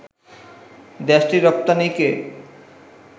দেশটির রপ্তানিকে